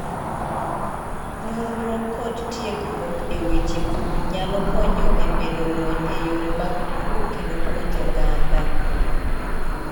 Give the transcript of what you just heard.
Nonro kod tiegruok e weche pur nyalo konyo e medo lony e yore mag pur kendo puonjo oganda.